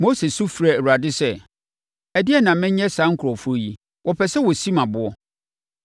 Mose su frɛɛ Awurade sɛ, “Ɛdeɛn na menyɛ saa nkurɔfoɔ yi? Wɔpɛ sɛ wɔsi me aboɔ.”